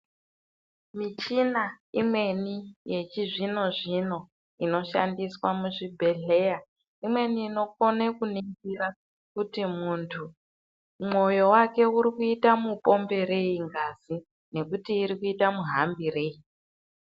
Michina imweni yechizvino zvino inoshandiswa muzvibhedhleya imweni inokone kuningira kuti muntu mwoyo wake urikuita mupomberei ngazi nekuti irikuita muhambirei.